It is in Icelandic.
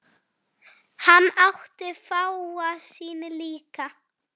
Hann átti fáa sína líka.